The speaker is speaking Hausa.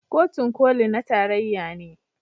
Kotun Koli na tarayya ne.